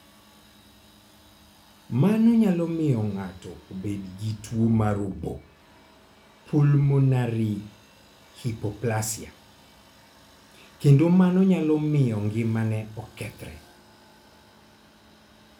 Mano nyalo miyo ng'ato obed gi tuwo mar obo (pulmonary hypoplasia), kendo mano nyalo miyo ngimane okethre.